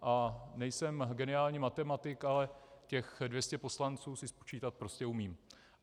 A nejsem geniální matematik, ale těch 200 poslanců si spočítat prostě umím.